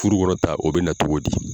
Furu kɔnɔta o bɛ na cogo di?